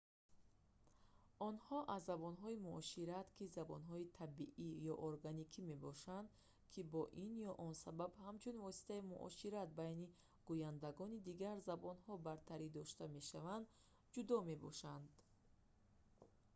онҳо аз забонҳои муошират ки забонҳои табиӣ ё органикӣ мебошанд ки бо ин ё он сабаб ҳамчун воситаи муошират байни гӯяндагони дигар забонҳо бартаридошта мешаванд ҷудо мебошанд